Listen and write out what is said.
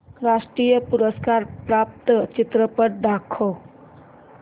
राष्ट्रीय पुरस्कार प्राप्त चित्रपट दाखव